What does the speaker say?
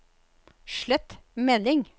slett melding